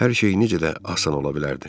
Hər şey necə də asan ola bilərdi.